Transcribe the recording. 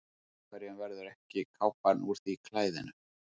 Einhverjum verður ekki kápan úr því klæðinu